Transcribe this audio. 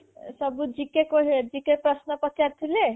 ସବୁ GK ଅ GK ପ୍ରଶ୍ନ ପଚାରିଥିଲେ